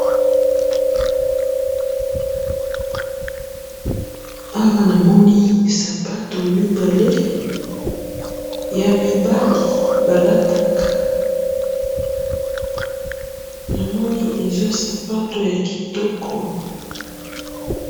awa namoni sapato mibale ya mibali balataka namoni eza sapatu ya kitoko.